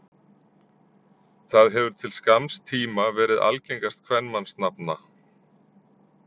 Það hefur til skamms tíma verið algengast kvenmannsnafna.